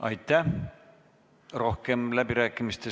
Aitäh!